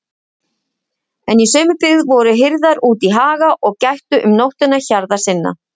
En í sömu byggð voru hirðar úti í haga og gættu um nóttina hjarðar sinnar.